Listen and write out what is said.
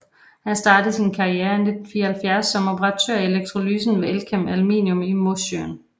Han startede sin karriere i 1974 som operatør i elektrolysen ved Elkem Aluminium i Mosjøen